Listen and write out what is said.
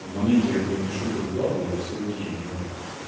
в моменте когда я пишу это выкладываю всё окей но